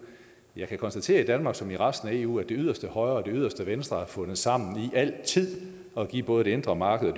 jeg kan konstatere i danmark som i resten af eu at det yderste højre og det yderste venstre har fundet sammen i altid at give både det indre marked og